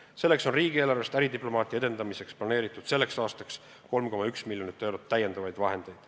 Selleks on riigieelarvest äridiplomaatia edendamiseks planeeritud tänavuseks aastaks 3,1 miljonit eurot täiendavaid vahendeid.